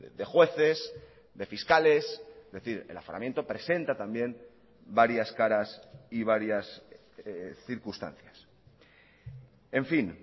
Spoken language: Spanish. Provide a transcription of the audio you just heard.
de jueces de fiscales es decir el aforamiento presenta también varias caras y varias circunstancias en fin